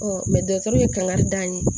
dɔgɔtɔrɔ ye kangari d'an ye